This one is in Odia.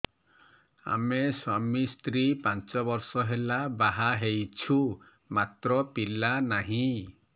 ଆମେ ସ୍ୱାମୀ ସ୍ତ୍ରୀ ପାଞ୍ଚ ବର୍ଷ ହେଲା ବାହା ହେଇଛୁ ମାତ୍ର ପିଲା ନାହିଁ